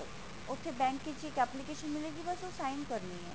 ਉੱਥੇ bank ਵਿੱਚ ਇੱਕ application ਮਿਲੇਗੀ ਬਸ ਓਹ sign ਕਰਨੇ ਹੈ